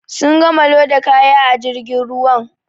Sun gama loda kaya a jirgin ruwan.